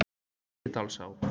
Víðidalsá